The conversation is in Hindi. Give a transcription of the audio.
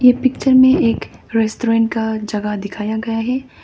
ये पिक्चर में एक रेस्टोरेंट का जगह दिखाया गया है।